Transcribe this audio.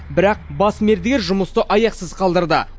бірақ бас мердігер жұмысты аяқсыз қалдырды